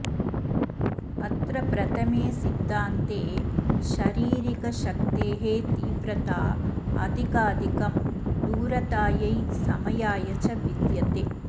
अत्र प्रथमे सिद्धान्ते शरीरिकशक्तेस्तीव्रताऽधिकाधिकं दूरतायै समयाय च विद्यते